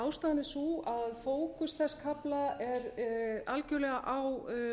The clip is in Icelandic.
ástæðan er sú að fókus þess kafla er algerlega á